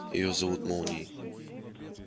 её зовут молнией